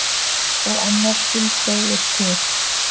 Og annar skuldseigur til.